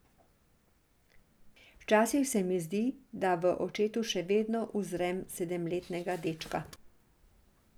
Včasih se mi zdi, da v očetu še vedno uzrem sedemletnega dečka.